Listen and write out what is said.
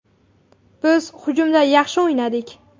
Biz hujumda yaxshi o‘ynadik.